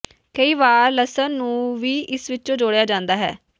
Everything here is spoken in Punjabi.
ਕਈ ਵਾਰ ਲਸਣ ਨੂੰ ਵੀ ਇਸ ਵਿੱਚ ਜੋੜਿਆ ਜਾਂਦਾ ਹੈ